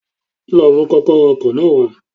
Lo mú kókóró ọkò náà wá